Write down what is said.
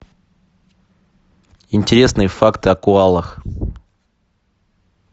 интересные факты о коалах